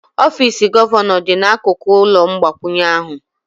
Ọfịs gọvanọ dị n'akụkụ ụlọ mgbakwunye ahụ.